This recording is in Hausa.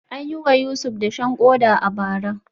An yi wa Yusuf dashen koda a bara.